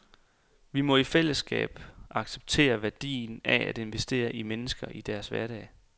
Vi må i fællesskab accepterer værdien af at investere i mennesker i deres hverdag.